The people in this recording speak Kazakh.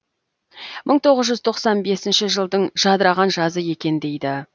мың тоғыз жүз тоқсан бесінші жылдың жадыраған жазы екен дейді